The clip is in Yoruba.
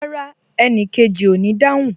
Rárá, enikeji o ní dáhùn